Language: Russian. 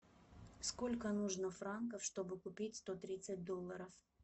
сколько нужно франков чтобы купить сто тридцать долларов